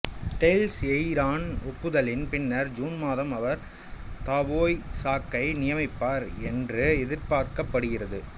tail Eireann ஒப்புதலின் பின்னர் June மாதம் அவர் தாவோய்சாக்கை நியமிப்பார் என்று எதிர்பார்க்கப்படுகிறது